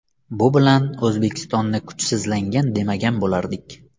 Bu bilan O‘zbekistonni kuchsizlangan demagan bo‘lardik.